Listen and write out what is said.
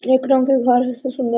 एक रंग की सुंदर--